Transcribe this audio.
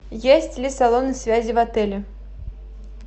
есть ли салоны связи в отеле